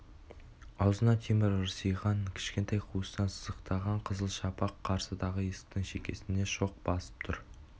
аузында темір ырсиған кішкентай қуыстан сыздықтаған қызыл шапақ қарсыдағы есіктің шекесіне шоқ басып тұр